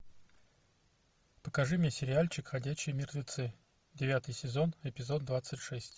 покажи мне сериальчик ходячие мертвецы девятый сезон эпизод двадцать шесть